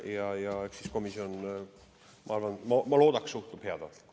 Ja ma loodan, et komisjon suhtub sellesse heatahtlikult.